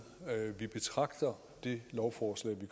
vi betragter det lovforslag